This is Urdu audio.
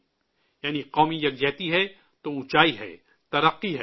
'' یعنی قومی اتحاد ہے تو اونچائی ہے، ترقی ہے